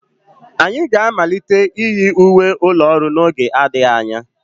Anyị ga-amalite iyi uwe ụlọ ọrụ n'oge adịghị anya.